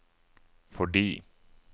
fordi